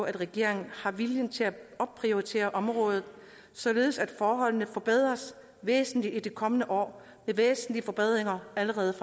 at regeringen har viljen til at opprioritere området således at forholdene forbedres væsentligt i de kommende år med væsentlige forbedringer allerede